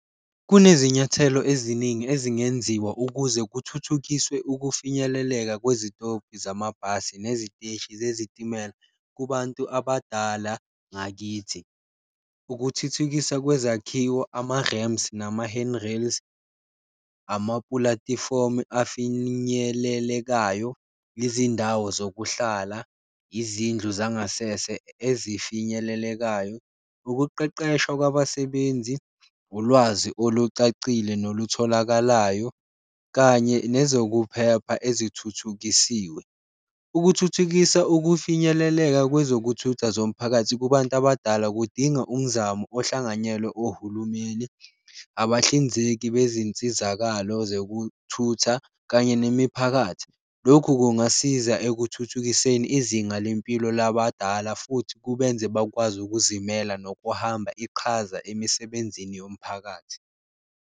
Kunezinyathelo eziningi ezingenziwa ukuze kuthuthukiswe ukufinyeleleka kwezitobhi zamabhasi neziteshi zesitimela kubantu abadala ngakithi, ukuthuthukisa kwezakhiwo ama-ramps, nama-handrails, amapulatifomu afinyelelekayo, izindawo zokuhlala, izindlu zangasese ezifinyelelekayo. Ukuqeqeshwa kwabasebenzi, ulwazi olucacile nokutholakala nayo kanye nezokuphepha ezithuthukisiwe, ukuthuthukisa ukufinyeleleka kwezokuthutha zomphakathi kubantu abadala kudinga umzamo ohlanganyelwe ohulumeni, abahlinzeki bezinsizakalo zokuthutha kanye nemiphakathi. Lokhu kungasiza ekuthuthukiseni izinga lempilo labadala futhi kubenze bakwazi ukuzimela nokuhamba iqhaza emisebenzini yomphakathi